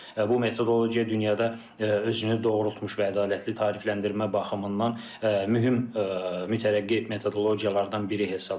Bu metodologiya dünyada özünü doğrultmuş və ədalətli tarifləndirmə baxımından mühim mütərəqqi metodologiyalardan biri hesab olunur.